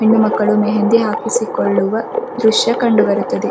ಹೆಣ್ಣು ಮಕ್ಕಳು ಮೆಹೆಂದಿ ಹಾಕಿಸಿ ಕೊಳ್ಳುವ ದೃಶ್ಯ ಕಂಡು ಬರುತದೆ.